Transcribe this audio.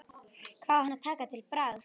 Hvað á hann að taka til bragðs?